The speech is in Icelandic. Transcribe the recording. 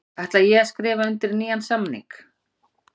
Ætla ég að skrifa undir nýjan samning?